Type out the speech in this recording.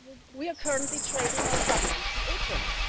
We are currently trading on WTO terms.